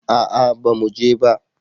A'a ba mu je ba